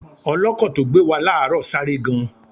Ọlọ́kọ̀ tó gbé wa láàárọ̀ sáré gan.